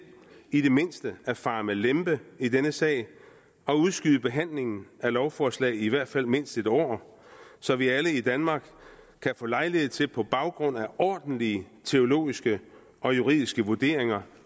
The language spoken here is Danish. i det mindste at fare med lempe i denne sag og udskyde behandlingen af lovforslaget i i hvert fald mindst en år så vi alle i danmark kan få lejlighed til på baggrund af ordentlige teologiske og juridiske vurderinger